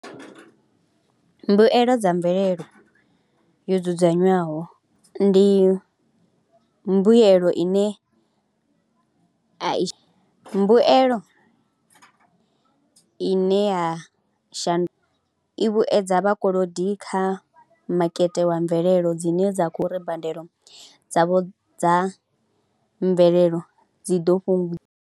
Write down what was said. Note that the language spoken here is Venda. Mbuelo dza mvelelo yo dzudzanywaho ndi mbuyelo ine a i, mbuyelo ine ya shandu, i vhuedza vhakolodi kha makete wa mvelelo dzine dza khou ri badelo dzavho dza mvelelo dzi ḓo fhungu.